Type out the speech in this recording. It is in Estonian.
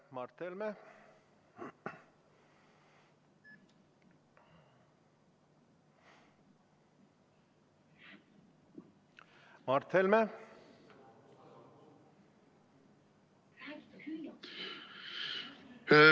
Mart Helme, palun!